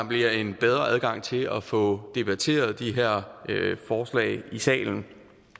bliver en bedre adgang til at få debatteret de her forslag i salen